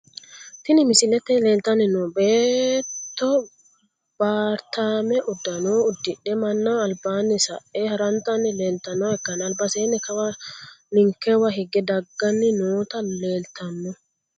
Tini misilete leeltani noo beeto baritaame udano udidhe manaho albaani sa`e harantani leeltanoha ikanna albaseno kawa ninkewa higge dagani noota leeltano.